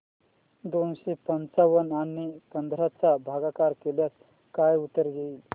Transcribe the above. दोनशे पंच्याण्णव आणि पंधरा चा भागाकार केल्यास काय उत्तर येईल